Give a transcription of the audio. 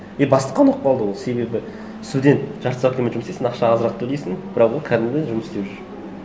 и бастыққа ұнап қалды ол себебі студент жарты ставкамен жұмыс істейді сен ақша азырақ төлейсің бірақ ол кәдімгі жұмыс істеп жүр